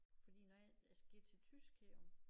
Fordi når jeg jeg skal til tysk her om